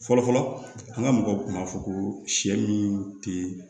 Fɔlɔfɔlɔ an ga mɔgɔw kun b'a fɔ ko sɛ min te